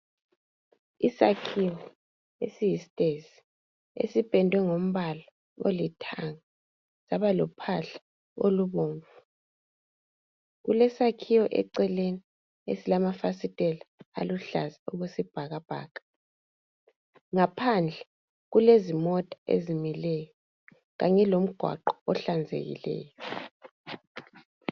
Isakhiwo esiyi stairs esipendwe ngombala olithanga saba lophahla olubomvu kulesakhiwo eceleni esilamafasiteli aluhlaza okwesibhakabhaka ngaphandle kulezimota ezimileyo kanye lomgwaqo ohlanzekileyo